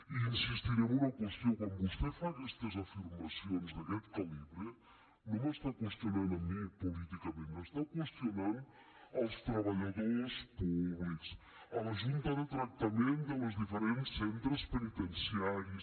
i insistiré en una qüestió quan vostè fa aquestes afirmacions d’aquest calibre no m’està qüestionant a mi políticament està qüestionant els treballadors públics la junta de tractament dels diferents centres penitenciaris